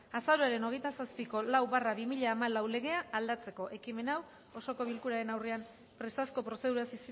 azaroaren hogeita zazpiko lau barra bi mila hamalau legea aldatzeko ekimena osoko bilkuraren aurrean presazko prozeduraz